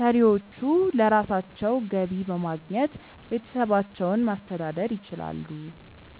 ሰሪዎቹ ለራሳቸው ገቢ በማግኘት ቤተሰባቸውን ማስተዳደር ይችላሉ።